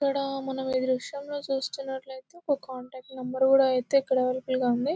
ఇక్కడ మనము ఈ దృశ్యంలో చూస్తుంటే ఒక కాంటాక్ట్ నెంబర్ కూడా అవైలబుల్ గా ఉంది.